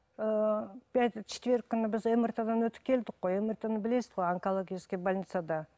ыыы четверг күні біз мрт дан өтіп келдік қой мрт ны білесіз ғой онкологический больницада